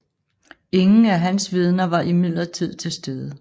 Ingen af hans vidner var imidlertid til stede